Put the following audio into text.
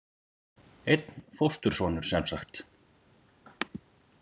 Einn fóstursonur semsagt.